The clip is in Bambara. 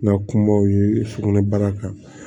Na kumaw ye sugunɛ bara kan